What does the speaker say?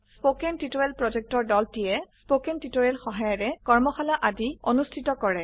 কথন শিক্ষণ প্ৰকল্পৰ দলটিয়ে কথন শিক্ষণ সহায়িকাৰে কৰ্মশালা আদি অনুষ্ঠিত কৰে